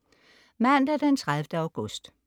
Mandag den 30. august